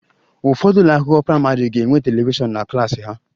Ụfọdụ ụlọ akwụkwọ praịmarị ga-enwe telivishọn na klas ha